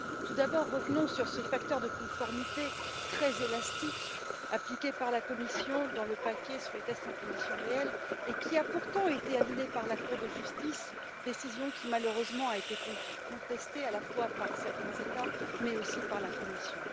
Tout d'abord, revenons sur ce facteur de conformité très élastique appliqué par la Commission dans le paquet sur les tests en conditions réelles et qui a pourtant été annulé par la Cour de justice, décision qui, malheureusement, a été contestée à la fois par certains États, mais aussi par la Commission.